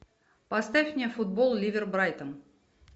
поставь мне футбол ливер брайтон